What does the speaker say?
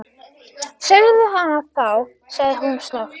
Segðu hana þá- sagði hún snöggt.